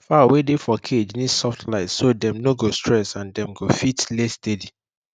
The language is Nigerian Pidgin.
fowl wey dey for cage need soft light so dem no go stress and dem go fit lay steady